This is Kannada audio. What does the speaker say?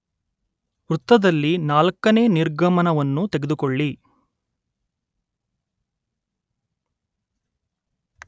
ವೃತ್ತದಲ್ಲಿ, ನಾಲ್ಕನೇ ನಿರ್ಗಮನವನ್ನು ತೆಗೆದುಕೊಳ್ಳಿ